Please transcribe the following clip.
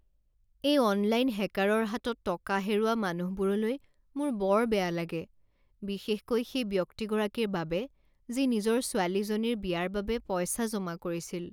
এই অনলাইন হেকাৰৰ হাতত টকা হেৰুওৱা মানুহবোৰলৈ মোৰ বৰ বেয়া লাগে বিশেষকৈ সেই ব্যক্তিগৰাকীৰ বাবে যি নিজৰ ছোৱালীজনীৰ বিয়াৰ বাবে পইচা জমা কৰিছিল।